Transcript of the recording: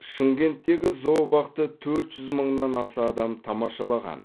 шымкенттегі зообақты төрт жүз мыңнан аса адам тамашалаған